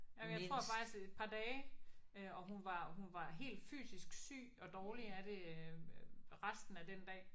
Jamen jeg tror faktisk et par dage øh og hun var hun var helt fysisk syg og dårlig af det øh resten af den dag